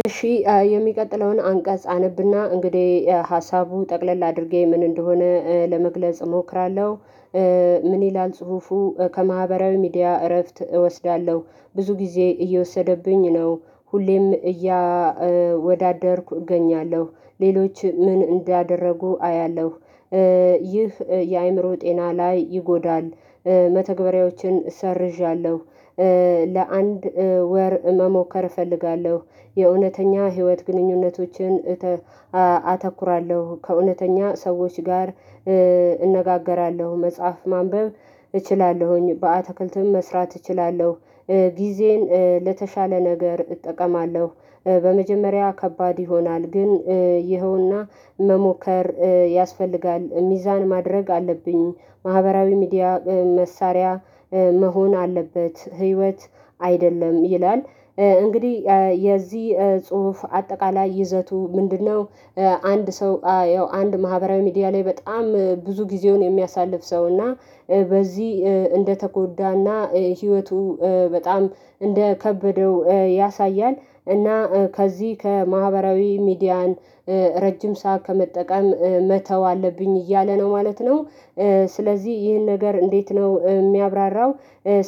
እሺ የሚቀጥለውን አንቀጽ አነብና እንግዲህ ሀሳቡ ጠቅለል አድርጌ ምን እንደሆነ ለመግለጽ እሞክራለሁ። ምን ይላል ጽሁፉ ከማህበራዊ ሚዲያ እረፍት እወስዳለሁ። ብዙ ጊዜ እየወሰደብኝ ነው ሁሌም እያወዳደርኩ እገኛለሁ ሌሎች ምን እንዳደረጉ አያለሁ። ይህ የአእምሮ ጤና ላይ ይጎዳል። መተግበሪያዎችን ሰርዣለሁ። ለአንድ ወር መሞከር እፈልጋለሁ። የእውነተኛ ህይወት ግንኙነቶችን አተኩራለሁ ከእውነተኛ ሰዎች ጋር እንነጋገራለሁ መጽሐፍ ማንበብ እችላለሁኝ በአትክልትም መስራት እችላለሁ። ጊዜን ለተሻለ ነገር እጠቀማለሁ። በመጀመሪያ ከባድ ይሆናል ግን ይኸውና መሞከር ያስፈልጋል ሚዛን ማድረግ አለብኝ። ማህበራዊ ሚዲያ መሳሪያ መሆን አለበት ህይወት አይደለም ይላል። እንግዲህ የዚህ ጽሁፍ አጠቃላይ ይዘቱ ምንድን ነው? አንድ ሰው ያው አንድ ማህበራዊ ሚዲያ ላይ በጣም ብዙ ጊዜውን የሚያሳልፍ ሰው እና በዚህ እንደተጎዳና ህይወቱ በጣም እንደከበደው ያሳያል። እና ከዚህ ከማህበራዊ ሚዲያን ረጅም ሰዓት ከመጠቀም መተው አለብኝ እያለ ነው ማለት ነው። ስለዚህ ይህን ነገር እንዴት ነው ሚያብራራው?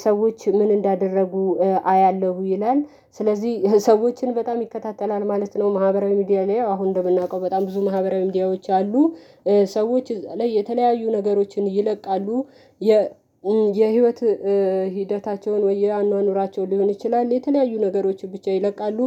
ሰዎች ምን እንዳደረጉ አያለሁ ይላል። ስለዚህ ሰዎችን በጣም ይከታተላል ማለት ነው። ማህበራዊ ሚዲያ አሁን እንደምናቀው በጣም ብዙ ማህበራዊ ሚዲያዎች አሉ። ሰዎች ላይ የተለያዩ ነገሮችን ይለቃሉ። የህይወት ሂደታቸውን ወይ የአኗኗራቸው ሊሆን ይችላል የተለያዩ ነገሮች ብቻ ይለቃሉ።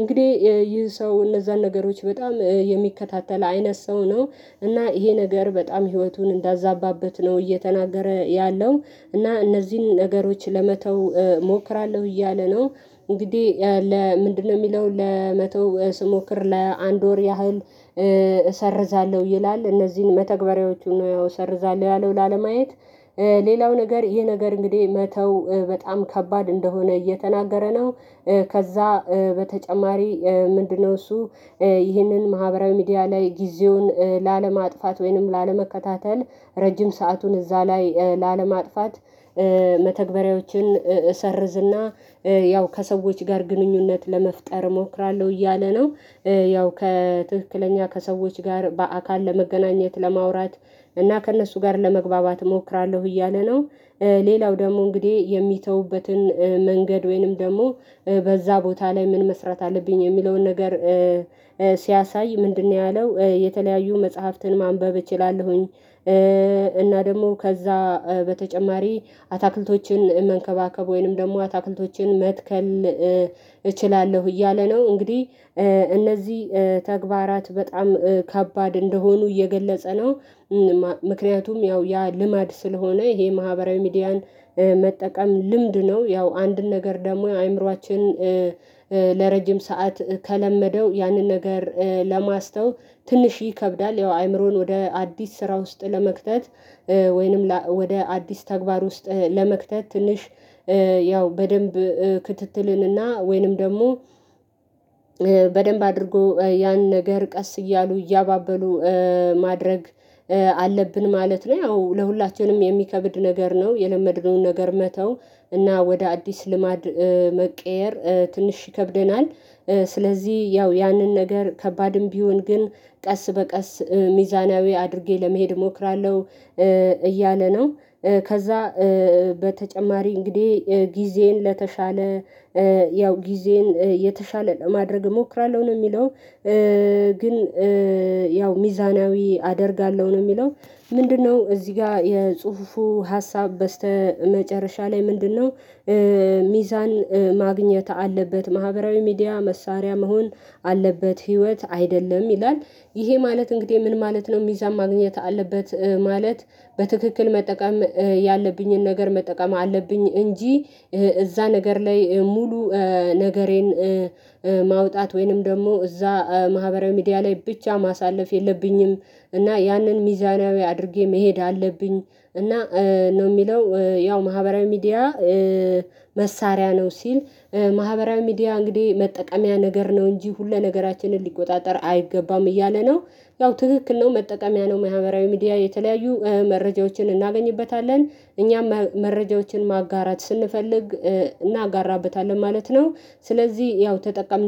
እንግዲህ ይህ ሰው እነዛን ነገሮች በጣም የሚከታተል አይነት ሰው ነው። እና ይሄ ነገር በጣም ህይወቱን እንዳዛባበት ነው እየተናገረ ያለው። እና እነዚህን ነገሮች ለመተው እሞክራለሁ እያለ ነው። እንግዲህ ለምንድን ነው ሚለው ለመተው ስሞክር ለአንድ ወር ያህል እሰርዛለሁ ይላል እነዚህን መተግበሪያዎቹን ነው ያው እሰርዛለሁ ያለው ላለማየት። ሌላው ነገር ይሄ ነገር እንግዲህ መተው በጣም ከባድ እንደሆነ እየተናገረ ነው። ከዛ በተጨማሪ ምንድን ነው እሱ? ይህንን ማህበራዊ ሚዲያ ላይ ጊዜውን ላለማጥፋት ወይንም ላለመከታተል ረጅም ሰአቱን እዛ ላይ ላለማጥፋት። መተግበሪያዎችን እሰርዝና ያው ከሰዎች ጋር ግንኙነት ለመፍጠር እሞክራለሁ እያለ ነው። ያው ከትክክለኛ ከሰዎች ጋር በአካል ለመገናኘት ለማውራት እና ከእነሱ ጋር ለመግባባት እሞክራለሁ እያለ ነው። ሌላው ደግሞ እንግዲህ የሚተውበትን መንገድ ወይንም ደግሞ በዛ ቦታ ላይ ምን መስራት አለብኝ የሚለውን ነገር። ሲያሳይ ምንድን ነው ያለው? የተለያዩ መጽሐፍትን ማንበብ እችላለሁኝ። እና ደግሞ ከዛ በተጨማሪ አታክልቶችን መንከባከብ ወይንም ደግሞ አታክልቶችን መትከል። እችላለሁ እያለ ነው እንግዲህ እነዚህ ተግባራት በጣም ከባድ እንደሆኑ እየገለጸ ነው። ምክንያቱም ያው ያ ልማድ ስለሆነ ይሄ ማህበራዊ ሚዲያን መጠቀም ልምድ ነው ያው አንድን ነገር ደግሞ አእምሮአችን ለረጅም ሰዓት ከለመደው ያንን ነገር ለማስተው ትንሽ ይከብዳል። ያው አይምሮን ወደ አዲስ ስራ ውስጥ ለመክተት ወይንም ወደ አዲስ ተግባር ውስጥ ለመክተት ትንሽ። ያው በደንብ ክትትልን እና ወይንም ደግሞ በደንብ አድርጎ ያን ነገር ቀስ እያሉ እያባበሉ ማድረግ አለብን ማለት ነው። ያው ለሁላችንም የሚከብድ ነገር ነው። የለመድነውን ነገር መተው እና ወደ አዲስ ልማድ መቀየር ትንሽ ይከብደናል። ስለዚህ ያው ያንን ነገር ከባድም ቢሆን ግን ቀስ በቀስ ሚዛናዊ አድርጌ ለመሄድ እሞክራለሁ። እያለ ነው። ከዛ በተጨማሪ እንግዲህ ጊዜዬን ለተሻለ ያው ጊዜዬን የተሻለ ለማድረግ እሞክራለሁ ነው የሚለው። ግን ያው ሚዛናዊ አደርጋለሁ ነው የሚለው። ምንድን ነው እዚህ ጋ የጽሁፉ ሀሳብ በስተመጨረሻ ላይ ምንድን ነው? ሚዛን ማግኘት አለበት ማህበራዊ ሚዲያ መሳሪያ መሆን አለበት ህይወት አይደለም ይላል። ይሄ ማለት እንግዲህ ምን ማለት ነው? ሚዛን ማግኘት አለበት ማለት በትክክል መጠቀም ያለብኝን ነገር መጠቀም አለብኝ እንጂ። እዛ ነገር ላይ ሙሉ ነገሬን ማውጣት ወይንም ደግሞ እዛ ማህበራዊ ሚዲያ ላይ ብቻ ማሳለፍ የለብኝም። እና ያንን ሚዛናዊ አድርጌ መሄድ አለብኝ። እና ነው ሚለው ያው ማህበራዊ ሚዲያ መሳሪያ ነው ሲል ማህበራዊ ሚዲያ እንግዲህ መጠቀሚያ ነገር ነው እንጂ ሁሉ ነገራችንን ሊቆጣጠር አይገባም እያለ ነው። ያው ትክክል ነው መጠቀምያ ነው ማህበራዊ ሚዲያ የተለያዩ መረጃዎችን እናገኝበታለን እኛም መረጃዎችን ማጋራት ስንፈልግ እናጋራበታለን ማለት ነው። ስለዚህ ያው ተጠቀም